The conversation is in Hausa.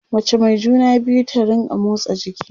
mace Mai juna biyu ta rinka motsa jiki